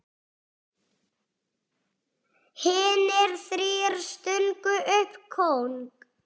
Hinir þrír stungu upp kóng.